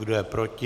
Kdo je proti?